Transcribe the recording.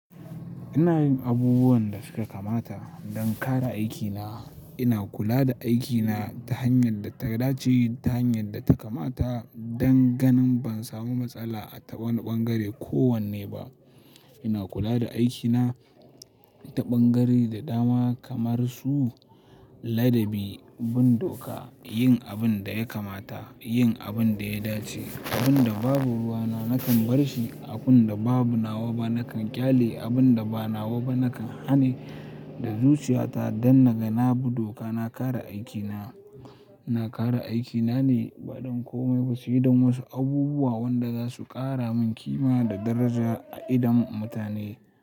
Ina yin abubuwan da suka kamata don ƙare aikina. Ina kula da aikina ta hanyar da ta dace, ta hanyar da ta kamata don ganin ban samu matsala a ta wani ɓangare kowanne ba. Ina kula da aikina ta ɓangare da dama kamar su ladabi, bin doka, yin abin da ya kamata, yin abin da ya dace. Abun da babu ruwana nakan barshi, abun da ba nawa ba nakan ƙyale, abun da ba nawa ba nakan haneshi da zuciyata don na ga na bi doka, na ƙare aikina. Na kare aikina ne ba don komai ba sai don wasu abubuwa wanda za su ƙara min kima da daraja a idon mutane.